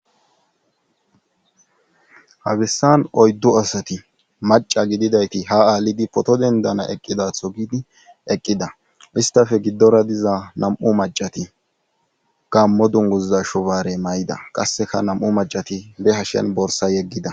Hagissan oyddu asati maca gididayti ha aalidi poto dendana eqqidatho gidi eqqida istafe giddora diza nam'u macati gammo dunguza shubaare may'ida qasseka nam'u macati behashen borsa yeggida